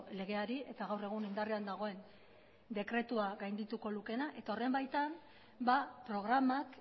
legeari eta gaur egun indarrean dagoen dekretua gaindituko lukeena eta horren baitan programak